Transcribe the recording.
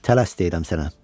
Tələs deyirəm sənə.